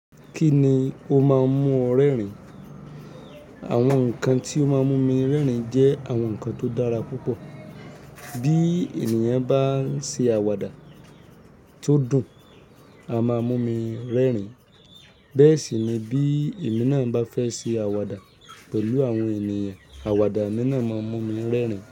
Kí ni o máa ń mú o rérìn? Àwọn nǹkan tí ó máa ń mú mi rẹ́rìn jẹ́ àwọn nǹkan tó dára púpọ̀. Bí ènìyàn bá ń ṣe àwàdà tó dùn, a máa mú mi rẹ́rìn. Bẹ́ẹ̀ sì ni bí èmi náà bá fẹ́ ṣe àwàdà pẹ̀lú àwọn ènìyàn, àwàdà nínà máa mú mi rẹ́rìn.